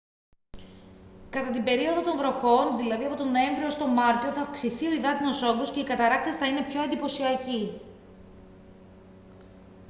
κατά την περίοδο των βροχών δηλαδή από τον νοέμβριο ως τον μάρτιο θα αυξηθεί ο υδάτινος όγκος και οι καταρράκτες θα είναι πιο εντυπωσιακοί